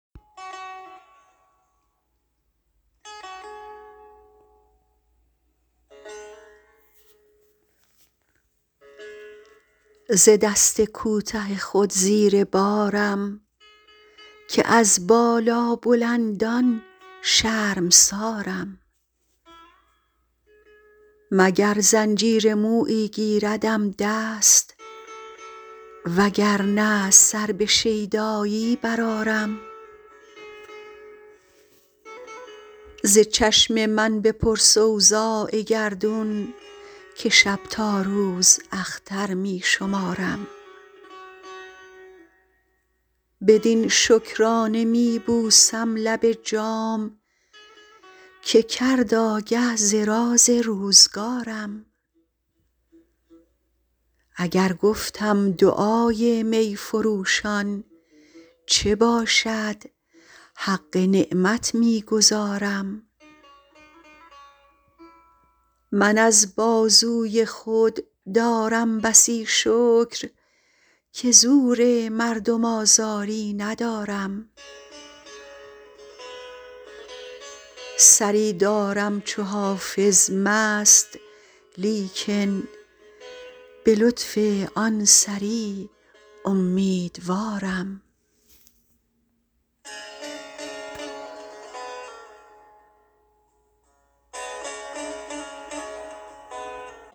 ز دست کوته خود زیر بارم که از بالابلندان شرمسارم مگر زنجیر مویی گیردم دست وگر نه سر به شیدایی برآرم ز چشم من بپرس اوضاع گردون که شب تا روز اختر می شمارم بدین شکرانه می بوسم لب جام که کرد آگه ز راز روزگارم اگر گفتم دعای می فروشان چه باشد حق نعمت می گزارم من از بازوی خود دارم بسی شکر که زور مردم آزاری ندارم سری دارم چو حافظ مست لیکن به لطف آن سری امیدوارم